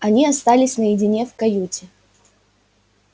они остались наедине в каюте